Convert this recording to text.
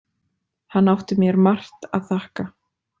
Hann átti mér margt að þakka.